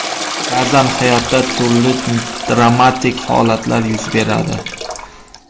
Ba’zan hayotda turli dramatik holatlar yuz beradi.